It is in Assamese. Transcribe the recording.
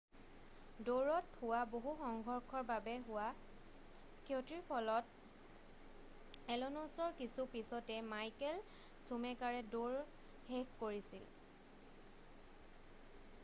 দৌৰত হোৱা বহু সংঘৰ্ষৰ বাবে হোৱা ক্ষতিৰ ফলত এলনছ'ৰ কিছু পিছতে মাইকেল চুমেকাৰে দৌৰ শেষ কৰিছিল